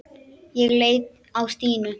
Ég leit á Stínu.